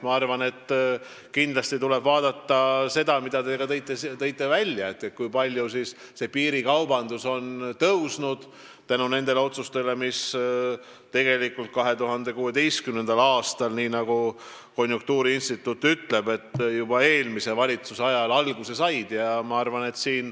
Ma arvan, et kindlasti tuleb vaadata, nagu ka teie mainisite, kui palju on piirikaubandus konjunktuuriinstituudi andmetel kasvanud nende otsuste tõttu, mis said alguse tegelikult juba 2016. aastal, eelmise valitsuse ajal.